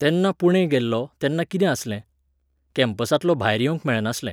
तेन्ना पुणे गेल्लों, तेन्ना कितें आसलें? कॅम्पसांतलो भायर येवंक मेळनासलें.